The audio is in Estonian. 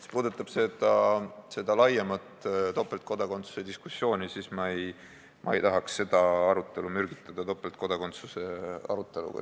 Mis puudutab seda laiemat topeltkodakondsuse diskussiooni, siis ma ei tahaks seda arutelu mürgitada topeltkodakondsuse aruteluga.